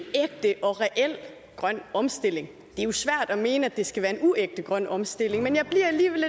og reel grøn omstilling det jo svært at mene at det skal være en uægte grøn omstilling men jeg bliver alligevel